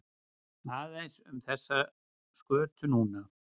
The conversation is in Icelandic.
Aðeins um þessa skötu núna?